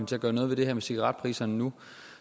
til at gøre noget ved det her med cigaretpriserne nu